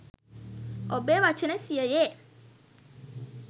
ඔබේ වචන සියයේ